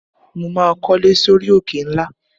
Mo máa kólé sórí òkè ńlá.